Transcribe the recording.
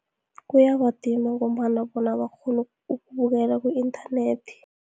Kuyabadima ngombana bona abakghoni ukubukela ku-inthanethi.